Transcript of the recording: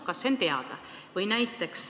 Kas see on teada?